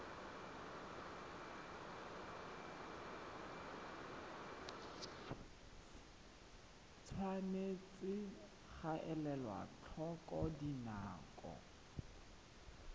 tshwanetse ga elwa tlhoko dinako